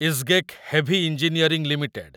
Isgec Heavy Engineering limited